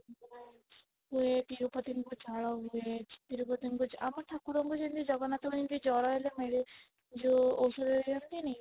ଏ ତିରୁପତିଙ୍କୁ ଝାଳ ବୋହେ ତିରୁପତିଙ୍କୁ ଆମ ଠାକୁରଙ୍କୁ ଯେମିତି ଜଗନ୍ନାଥ ଙ୍କୁ ଯେମିତି ଜର ହେଲେ ଯୋଉ ଔଷଧ ଦିଅନ୍ତିନି